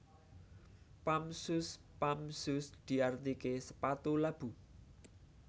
Pump Shoes Pump shoes diartiké sepatu labu